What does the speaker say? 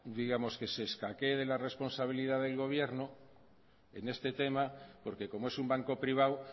que se escaquee de la responsabilidad del gobierno en este tema porque como es un banco privado